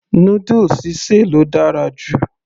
noodles sí sè ló dára jù